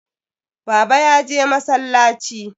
Baba ya je masallaci.